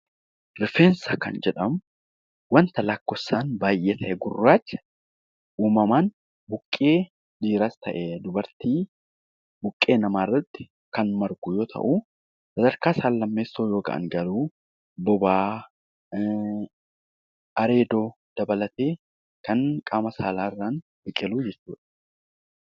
Rifeensa Kan jedhamu waanta lakkoofsaan baay'ee ta'e gurraacha uumamaan buqqee dhiiraas ta'e dubartii buqqee namaa irratti Kan margu Yoo ta'u, sadarkaa isaan lammeessoo yookaan garuu bobaa, areeda dabalatee Kan qaama saalaa irraan biqilu jechuudha.